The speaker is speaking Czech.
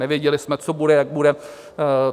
Nevěděli jsme, co bude, jak bude.